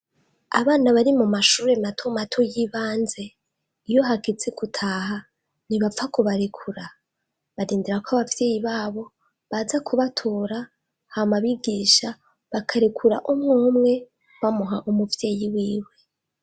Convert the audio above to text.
Abana bari mu mashuri mato mato y'ibanze, iyo hageze gutaha, ntibapfa kubarekura, barindira ko abavyeyi babo baza kubatora, hama abigisha bakarekura umwumwe bamuha umuvyeyi wiwe.